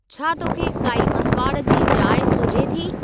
छा तोखे काई मसवाड़ जी जाइ सुझे थी?